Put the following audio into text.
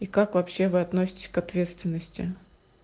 и как вообще вы относитесь к ответственности